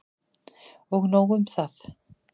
Og nóg um það!